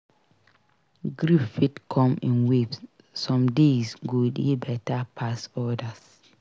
Grief fit come in waves; some days go dey better pass odas.